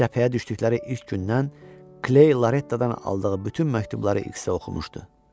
Cəbhəyə düşdükləri ilk gündən Kley Lorettadan aldığı bütün məktubları X-ə oxumuşdu.